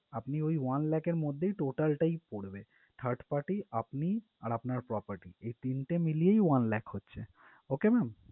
আপনি ওই one lakh র মধ্যেই total টাই পরবে third party আপনি আর আপনার property তিনটা মিলিয়েই one lakh হচ্ছে okay ma'am?